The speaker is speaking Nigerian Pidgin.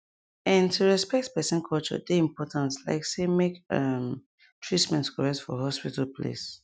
ehn to respect person culture dey important like say make um treatment correct for hospital place